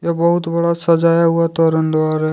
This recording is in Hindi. यह बहुत बड़ा सजाया हुआ तोरनद्वार है।